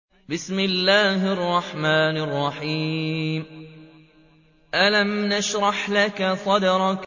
أَلَمْ نَشْرَحْ لَكَ صَدْرَكَ